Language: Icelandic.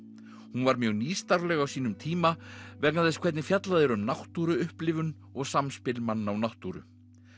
hún var mjög nýstárleg á sínum tíma vegna þess hvernig fjallað er um náttúruupplifun og samspil manna og náttúru